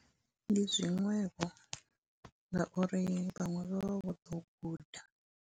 Ndi zwiṅwevho ngauri vhaṅwe vha vha vho ḓo u guda.